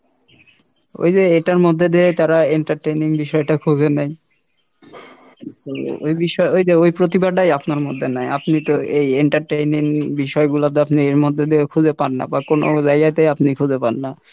ওইযে এটার মধ্যে দিয়ে তারা entertaining বিষয় টা খুঁজে নেয়, ওই বিষয় ওইযে ওই প্রতিভাটাই আপনার মধ্যে নাই, আপনি তো এই entertaining বিষয়গুলা তো আপনি এর মধ্যে দিয়েও খুঁজে পান না, বা কোনো জায়গাতেই আপনি খুঁজে পান না।